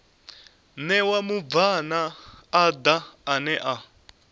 ṋewa mubvann ḓa ane a